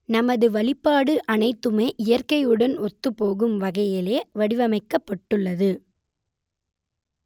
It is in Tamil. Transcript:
நமது வழிபாடு அனைத்துமே இயற்கையுடன் ஒத்துப்போகும் வகையிலேயே வடிவமைக்கப்பட்டுள்ளது